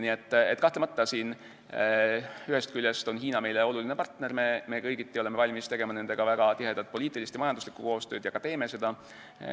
Nii et kahtlemata, ühest küljest on Hiina meile oluline partner, me oleme kõigiti valmis tegema Hiinaga väga tihedat poliitilist ja majanduslikku koostööd ning ka teeme seda.